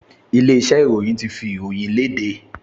Ilé-iṣẹ́ ìròyìn ti fi ìròyìn le léde